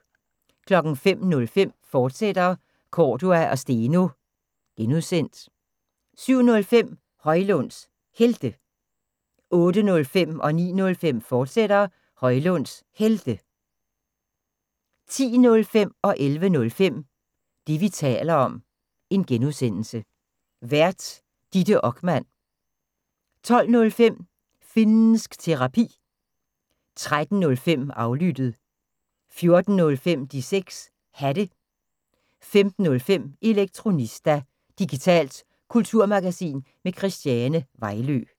05:05: Cordua & Steno, fortsat (G) 07:05: Højlunds Helte 08:05: Højlunds Helte, fortsat 09:05: Højlunds Helte, fortsat 10:05: Det, vi taler om (G) Vært: Ditte Okman 11:05: Det, vi taler om (G) Vært: Ditte Okman 12:05: Finnsk Terapi 13:05: Aflyttet 14:05: De 6 Hatte 15:05: Elektronista – digitalt kulturmagasin med Christiane Vejlø